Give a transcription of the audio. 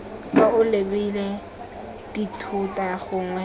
fa o lebile dithota gongwe